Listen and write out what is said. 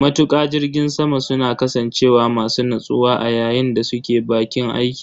Matuƙa jirgin sama suna kasancewa masu natsuwa a yayin da suke baƙin aiki.